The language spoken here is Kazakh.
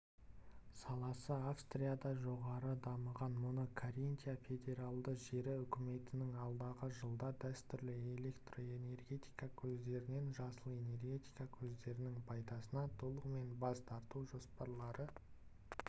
саласы австрияда жоғары дамыған мұны каринтия федералды жері үкіметінің алдағы жылда дәстүрлі электроэнергия көздерінен жасыл энергетика көздерінің пайдасына толығымен бас тартужоспарлары